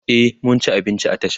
e mun ci abinci a tashan